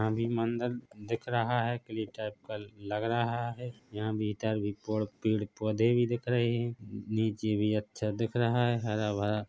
यहाँ भी अंदर दिख रहा है किलेटाइप का लग रहा है यहां भी इधर भी पेड पौधे भी दिख रहे है नीचे भी अच्छा दिख रहा है हरा भरा--